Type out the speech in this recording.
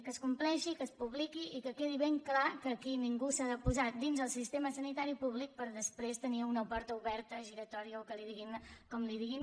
que es compleixi i que es publiqui i que quedi ben clar que aquí ningú s’ha de posar dins el sistema sanitari públic per després tenir una porta oberta giratòria o que en diguin com en diguin